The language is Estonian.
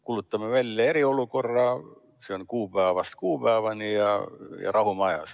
Kuulutame välja eriolukorra, see on kuupäevast kuupäevani, ja rahu majas.